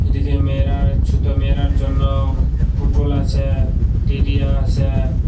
নিজের মেয়েরার ছোটো মেয়েরার জন্য পুতুল আছে টিডিও আছে।